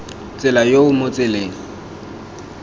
tsela yo o mo tseleng